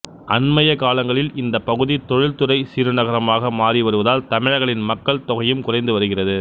அண்மையக் காலங்களில் இந்தப் பகுதி தொழில்துறை சிறுநகரமாக மாறி வருவதால் தமிழர்களின் மக்கள் தொகையும் குறைந்து வருகிறது